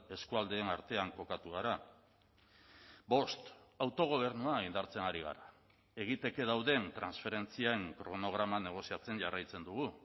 eskualdeen artean kokatu gara bost autogobernua indartzen ari gara egiteke dauden transferentzien kronograma negoziatzen jarraitzen dugu